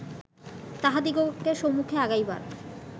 তাহাদিগকে সম্মুখে আগাইবার